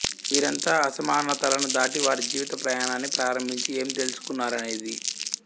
వీరంతా అసమానతలను దాటి వారి జీవిత ప్రయాణాన్ని ప్రారంభించి ఏం తెలుసుకున్నారనేది